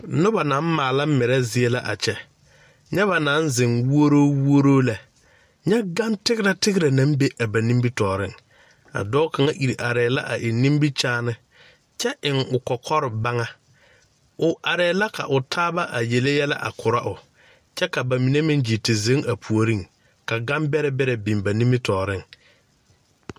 Noba naŋ maala merɛ zie la a kyɛ nyɛ ba naŋ zeŋ wuoro wuoro lɛ nyɛ gane tegrɛ tegrɛ naŋ be a ba nimitɔɔreŋ a dɔɔ kaŋ ire arɛɛ la a eŋ nimikyaani kyɛ eŋ o kɔkɔre baŋa o arɛɛ la ka o taaba a yele yɛlɛ a Korɔ o kyɛ ka ba mine gyiiri te zeŋ a puoriŋ ka gambɛrɛ biŋ ba nimitɔɔreŋ.